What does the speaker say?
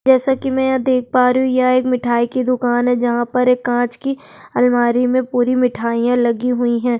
जैसा की मैं यहाँ देख पा रही हूँ यह एक मिठाई की दुकान है जहां पर एक कांच की अलमारी में पूरी मिठाईया लगी हुई है।